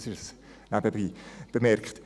Das nebenbei bemerkt.